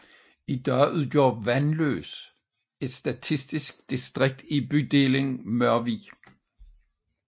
I dag udgør Vandløs et statistisk distrikt i bydelen Mørvig